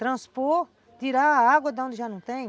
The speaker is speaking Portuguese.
Transpor, tirar a água de onde já não tem,